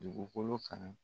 Dugukolo fana